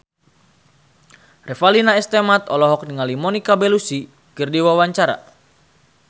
Revalina S. Temat olohok ningali Monica Belluci keur diwawancara